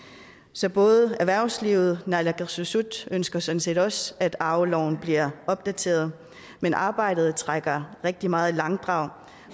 så både erhvervslivet og naalakkersuisut ønsker sådan set også at arveloven bliver opdateret men arbejdet trækker rigtig meget i langdrag